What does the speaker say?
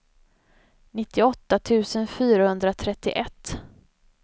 nittioåtta tusen fyrahundratrettioett